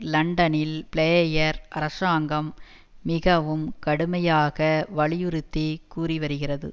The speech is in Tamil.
லண்டனில் பிளேயர் அரசாங்கம் மிகவும் கடுமையாக வலியுறுத்தி கூறிவருகிறது